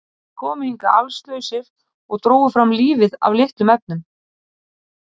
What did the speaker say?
Þeir komu hingað allslausir og drógu fram lífið af litlum efnum.